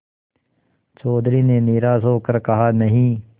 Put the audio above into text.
चौधरी ने निराश हो कर कहानहीं